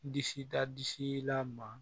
N disi da disi la ma